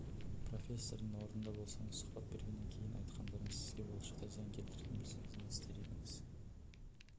профессордың орнында болсаңыз сұхбат бергеннен кейін айтқандарыңыз сізге болашақта зиян келтіретінін білсеңіз не істер едіңіз